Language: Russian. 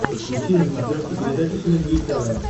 подключи на смотрешке передачу синергия тв